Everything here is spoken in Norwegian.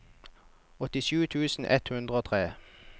åttisju tusen ett hundre og tre